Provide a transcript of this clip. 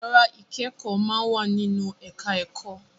Ìyára ìkẹ́kọ̀ọ́ máa ń wà nínú ẹ̀ká ẹ̀kọ́